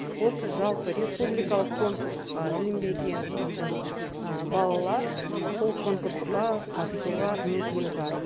осы жалпы республикалық конкурсқа ілінбеген біздің балалар сол конкурсқа қатысуға мүмкіні бар